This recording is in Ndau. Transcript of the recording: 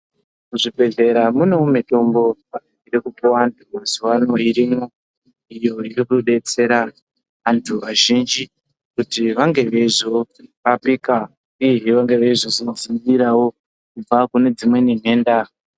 Muzvibhehlera munewo mitombo iri kupuwa antu mazuwanaya irimwo iyo inotodetsera antu azhinji kuti vange veizorapika uyezve veinge veizozvidzivirira kubva kunedzimweni nhenda.